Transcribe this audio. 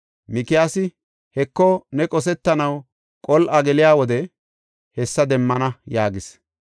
Mikiyaasi, “Heko, ne qosetanaw qol7a geliya wode hessa demmana” yaagis.